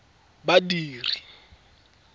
badiri